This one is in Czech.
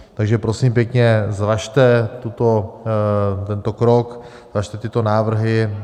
Takže prosím pěkně, zvažte tento krok, zvažte tyto návrhy.